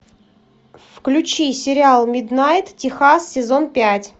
включи сериал миднайт техас сезон пять